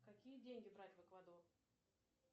какие деньги брать в эквадор